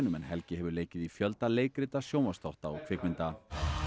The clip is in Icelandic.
en Helgi hefur leikið í fjölda leikrita sjónvarpsþátta og kvikmynda